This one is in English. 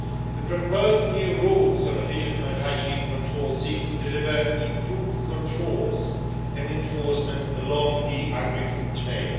The proposed new rules on efficient hygiene control seek to deliver improved controls and enforcement along the agri-food chain.